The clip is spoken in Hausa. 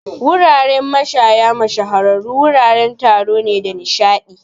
Wuraren mashaya mashahuran wuraren taro ne da nishaɗi.